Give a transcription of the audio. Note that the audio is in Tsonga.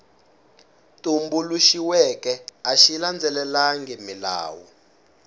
tumbuluxiweke a xi landzelelangi milawu